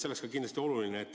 See oleks kindlasti oluline.